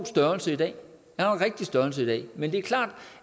størrelse i dag men det er klart